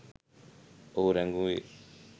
ඔහු රැගුවෙ